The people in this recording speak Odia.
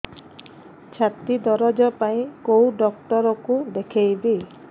ଛାତି ଦରଜ ପାଇଁ କୋଉ ଡକ୍ଟର କୁ ଦେଖେଇବି